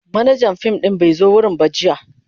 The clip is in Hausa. Manajan fim din bai zo wurin ba jiya.